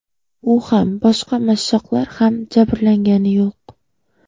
U ham, boshqa mashshoqlar ham jabrlangani yo‘q.